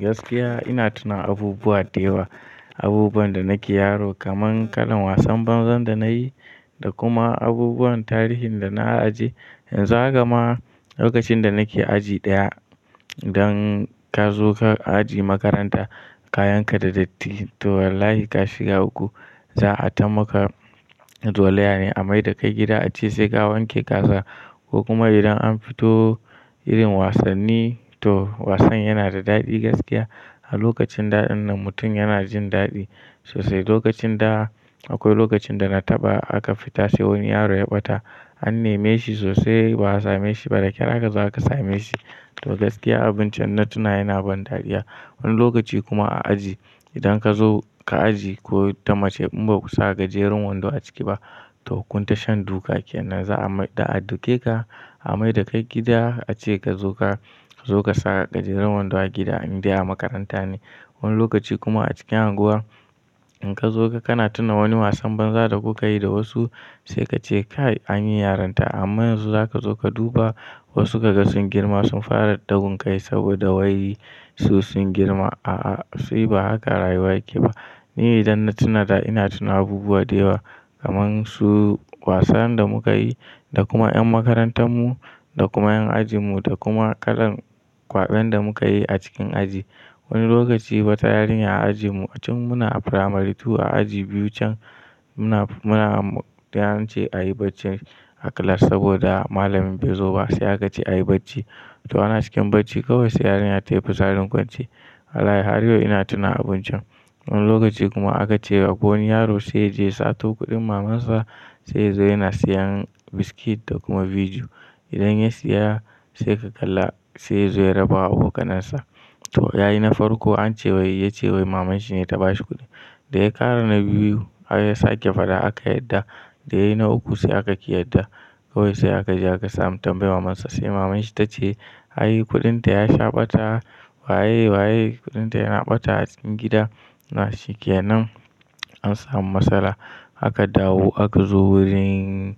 Gaskiya ina tuna abubuwa da yawa, abubuwan da nake yaro kamar kalan wasan banza da nayi da kuma abubuwan tarihin da na ajiye. Yanzu haka ma lokacin da nake aji ɗaya, idan ka zo ka aji makaranta gaskiya ina tuna abubuwa da yawa, abubuwan da nake yaro kamar kalan wasan banza da nayi da kuma abubuwan tarihin da na ajiye. Yanzu haka ma lokacin da nake aji ɗaya, idan ka zo ka aji makaranta ko kuma idan an fito irin wasanni toh wasan yana da daɗi gaskiya. Kayan ka da datti toh wallahi ka shiga uku za a tamaka an neme shi sosai ba a same shi ba da ƙyar aka zo aka same shi. To gaskiya abun can na tuna yana ban daɗiya. Wani lokaci kuma a aji idan ka zo ka aji ko ta mace in ba ku sa gajerun wando a ciki ba toh kun ta shan duka kenan za a mai da a duke ka a maidake gida ace ka zo ka zo ka sa gajerun wando a gida in dai a makaranta ne. Wani lokaci kuma a cikin unguwa in ka zo ka kana tuna wani wasan banza da kuka yi da wasu sai ka ce kai an yi yarinta amma yanzu za ka zo ka duba wasu kaga sun girma sun fara ɗagunkai saboda wai su sun girma. A'a sai ba haka rayuwa yake ba. Ni idan na tuna da ina tuna abubuwa da yawa kamar su wasan da muka yi da kuma ƴan makarantar mu da kuma ƴan ajin mu da kuma kalan kwaɓen da muka yi a cikin aji. Wani lokaci wata yarinya a ajin mu tun muna a primary two a aji biyu can muna muna da ance a yi bacci a class saboda malamin bai zo ba sai aka ce a yi bacci. To ana cikin bacci kawai sai yarinyar ta yi fitsarin kwance. Wallahi har yau ina tuna abun can. Wani lokaci kuma aka ce akwai wani yaro sai yaje ya sato kuɗin maman sa sai ya zo yana sayan biskit da kuma biju idan ya siya sai ka kalla sai ya zo ya raba wa abokanansa. To ya yi na farko an ce wai ya ce wai maman shi ne ta ba shi kuɗi. Da ya ƙara na biyu har ya sake faɗa aka yarda. Da ya yi na uku sai aka ƙi yarda kawai sai aka ƙi yadda samu tambaya maman sa sai maman shi ta ce "Ai kuɗin ta ya sha ɓata waye waye kuɗin ta yana ɓata a cikin gida?" Nan shi kenan an samu matsala aka dawo aka zo wurin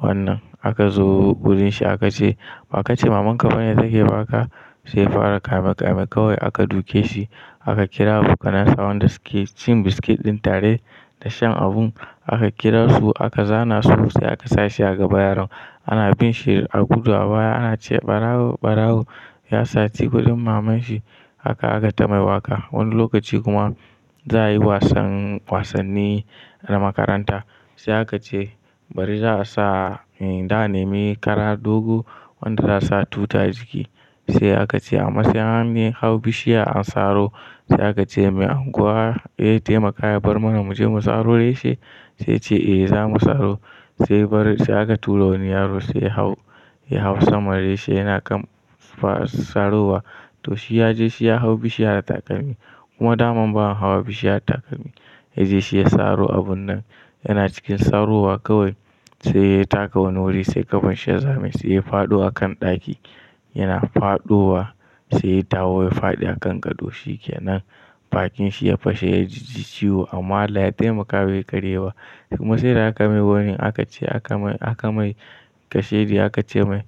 wannan aka zo wurin shi aka ce ba ka ce maman ka bane take ba ka?" Sai yafara kame kame kawai aka duke shi aka kira abokanansa wanda suke cin biskit ɗin tare da shan abun aka kira su aka zana su sai aka sashi a gaba yaron ana bin shi a gudu a baya ana ce ɓarawo ɓarawo ya saci kuɗin maman shi haka aka tamai waƙa. Wani lokaci kuma za a yi wasan wasanni na makaranta sai aka ce bari za a sa za a nemi kara dogo wanda za sa tu ta jiki. Sai aka ce ama sai an hau bishiya an saro sai aka ce mai unguwa ze taimaka ya bar mana muje mu saro reshe sai ya ce eh zamu saro." Sai bari sai aka turo wani yaro sai ya hau ya hau sama reshe yana kan saro wa. To shi ya je shi ya hau bishiyar da takalmi kuma daman ba a hawa bishiya da takalmi ya je shi ya saro abun nan yana cikin saro wa kawai sai ya taka wani wuri sai kafan shi ya zame se ya faɗo a kan ɗaki yana faɗowa sai dawo ya faɗi a kan gado shi kenan. Bakin shi ya fashe ya jiji ciwo amma Allah ya taimaka bai karye ba. Kuma sai da aka mai woni aka ce aka mai aka mai kashedi aka ce mai.